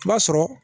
I b'a sɔrɔ